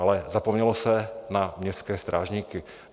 Ale zapomnělo se na městské strážníky.